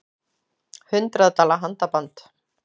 Hundrað dala handaband